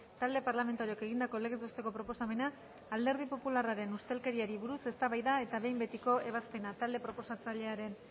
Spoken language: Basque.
talde parlamentarioak egindako legez besteko proposamena alderdi popularraren ustelkeriari buruz eztabaida eta behin betiko ebazpena talde proposatzailearen